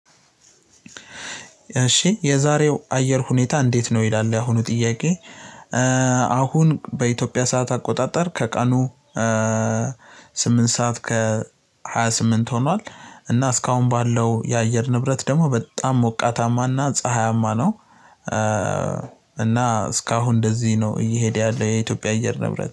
እሺ የዛሬው አየር ሁኔታ እንዴት ነው ይላል? ያሁኑ ጥያቄ አሁን በኢትዮጵያ ሰዓት አቆጣጠር ከቀኑ ስምንት ሰዓት ከሃያ ስምንት ሆኗል እና እስካሁን ባለው የአየር ንብረት ደግሞ በጣም ሞቃታማ እና ፀሀያማ ነው እስካሁን እንደዚህ ነው እየሄደ ያለው የኢትዮጵያ አየር ንብረት።